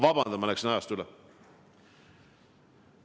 Vabandust, et ma läksin ajast üle!